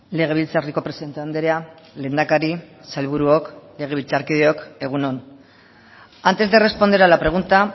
legebiltzarreko presidente andrea lehendakari sailburuok legebiltzarkideok egun on antes de responder a la pregunta